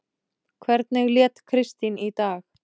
Hvernig lét Kristín í dag?